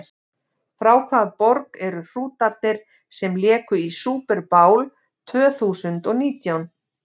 Frá hvaða borg eru Hrútarnir sem léku í Super Bowl tvö þúsund og nítján?